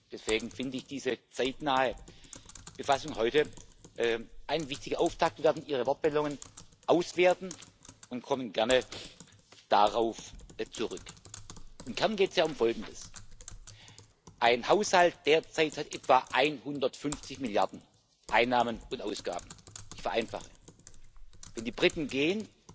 Deswegen finde ich diese zeitnahe Befassung heute einen wichtigen Auftakt. Wir werden Ihre Wortmeldungen auswerten und kommen gerne darauf zurück. Im Kern geht es ja um Folgendes Ein Haushalt hat derzeit etwa 150 Milliarden Einnahmen und Ausgaben ich vereinfache. Wenn die Briten gehen,